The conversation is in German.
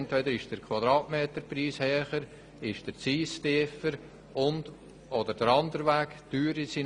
Entweder ist der Quadratmeterpreis höher, der Zins tiefer oder andersherum.